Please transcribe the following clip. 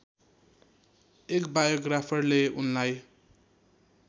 एक बायोग्राफरले उनलाई